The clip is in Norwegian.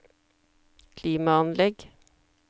klimaanlegg